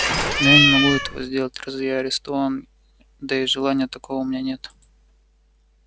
но я не могу этого сделать разве я арестован да и желания такого у меня нет